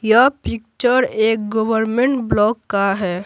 यह पिक्चर एक government block का है।